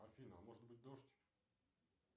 афина может быть дождь